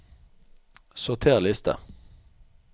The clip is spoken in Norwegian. Sorter liste